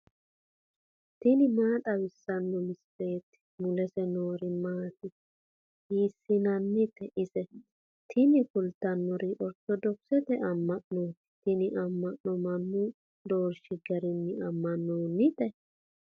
tini maa xawissanno misileeti ? mulese noori maati ? hiissinannite ise ? tini kultannori ortodokisete amma'nooti. tini amma'nono mannu doorshiri garinni ammaninote.